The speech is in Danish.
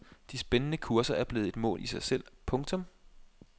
De spændende kurser er blevet et mål i sig selv. punktum